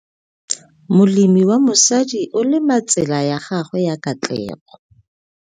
Molemi wa mosadi o lema tsela ya gagwe ya katlego.